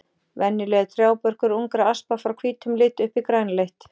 Venjulega er trjábörkur ungra aspa frá hvítum lit upp í grænleitt.